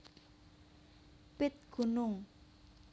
Pit Gunung